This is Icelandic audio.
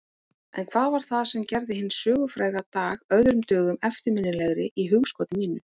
En hvað var það sem gerði hinn sögufræga dag öðrum dögum eftirminnilegri í hugskoti mínu?